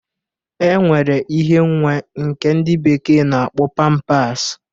E nwere ihe nwa nke ndị bekee na-akpọ pampas.